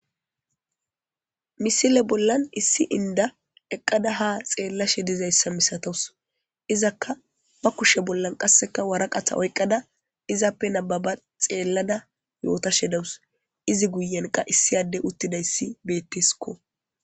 Misile bollan issi inda eqqada ha xeellashe dizayssa misatawus izakka ba kushe bollan qasseka waraqatha oyqqada izappe nababa xeellada yootashe dawus izi guyenqa issiyade uttidayssi betteskko.